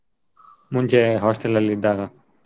ಮುಂಚೆ hostel ಅಲ್ಲಿ ಇದ್ದಾಗ.